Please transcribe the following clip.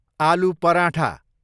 आलु पराठा